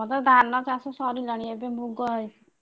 ଆମର ତ ଧାନ ଚାଷ ସରିଲାଣି ଏବେ ମୁଗ ହେଇଛି।